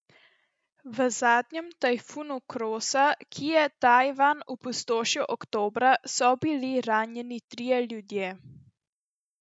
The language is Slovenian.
V zadnjem tajfunu Krosa, ki je Tajvan opustošil oktobra, so bili ranjeni trije ljudje.